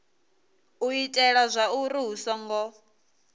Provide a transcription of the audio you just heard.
u itela zwauri hu songo